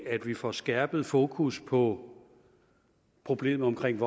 at vi får skærpet fokus på problemet omkring